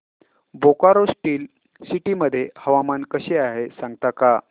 Bokaro Steel City मध्ये हवामान कसे आहे सांगता का